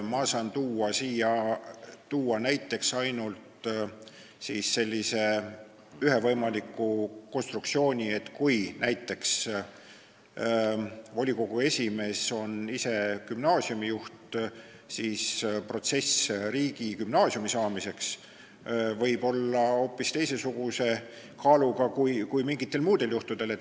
Ma saan tuua näiteks ainult ühe võimaliku konstruktsiooni, et kui näiteks volikogu esimees on ise gümnaasiumijuht, siis riigigümnaasiumi saamise protsess võib olla hoopis teistsuguse kaaluga kui mingitel muudel juhtudel.